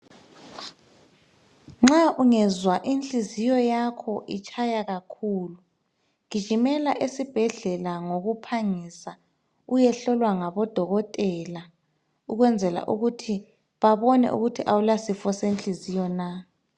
Nxa ungezwa inhliziyo yakho itshaya kakhulu ,gijimela esibhedlela ngokuphangisa. Uyehlolwa ngabodokotela ukwenzela ukuthi babone ukuthi awula sifo senhliziyo na.